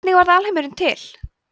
hvernig varð alheimurinn til